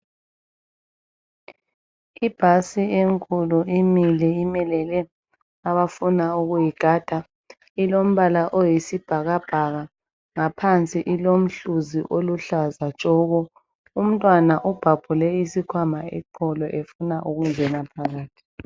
Ibhasi enkulu imile , imelele abafuna ukuyigada . Ilombala oyisibhakabhaka , ngaphansi ilomhluzi oluhlaza tshoko . Umntwana ubhabhule isikhwama eqolo efuna ukungena phakathi.